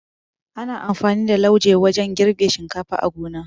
Ana amfani da lauje wajan girbe shinkafa a gona